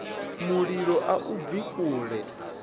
mulilo a i bvi kule